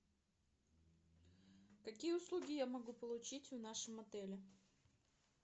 какие услуги я могу получить в нашем отеле